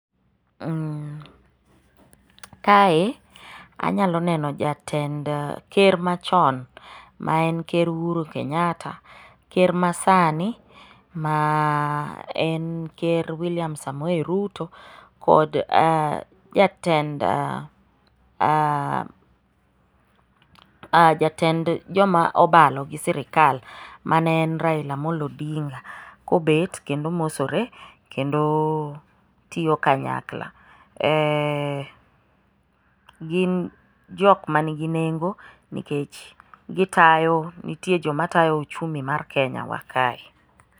Kae anyalo neno jatend ker machon ma en ker Ohuru Kenyatta, ker masani ma en ker William Samoe Ruto kod jatend joma obalo gi sirikal ma ne en Raila Amollo Odinga, kobet kendo mosore kendo tiyo kanyakla. Gin jok manigi nengo nikech gitayo, nitie jok matayo uchumi mar Kenyawa kae.